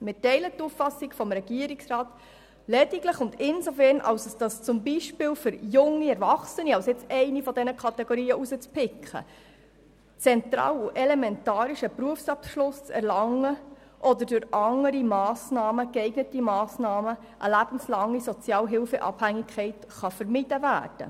Wir teilen die Auffassung des Regierungsrats lediglich und insofern, als es zum Beispiel für junge Erwachsene – um eine dieser Kategorien herauszupicken – zentral und elementar ist, einen Berufsbildungsabschluss zu erlangen oder durch andere geeignete Massnahmen eine lebenslange Sozialhilfeabhängigkeit zu vermeiden.